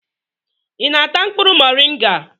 ị na-ata mkpụrụ moringa?